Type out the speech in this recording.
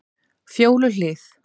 Fjóluhlíð